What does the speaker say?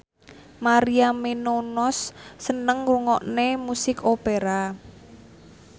Maria Menounos seneng ngrungokne musik opera